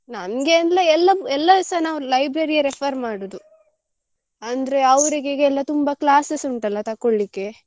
ನಮ್ಗೆ ಅಂದ್ರೆ ಎಲ್ಲ ಎಲ್ಲಸ ನಾವು library ಯೇ refer ಮಾಡುದು ಅಂದ್ರೆ ಅವ್ರಿಗೆ ಈಗೆಲ್ಲ ತುಂಬ classes ಉಂಟಲ್ಲ ತಕ್ಕೊಳ್ಳಿಕ್ಕೆ.